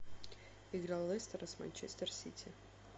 игра лестера с манчестер сити